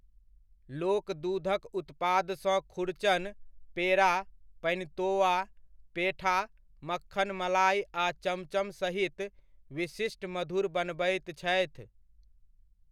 लोक दूधक उत्पादसँ खुरचन, पेड़ा, पनितोआ, पेठा, मक्खन मलाइ आ चमचम सहित विशिष्ट मधुर बनबैत छथि।